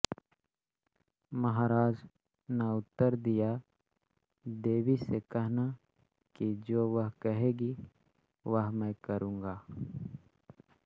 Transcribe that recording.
महाराज न उत्तर दिया देवी से कहना कि जो वह कहेंगी वह मैं करूँगा